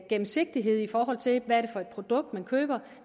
gennemsigtighed i forhold til hvad det er for et produkt man køber og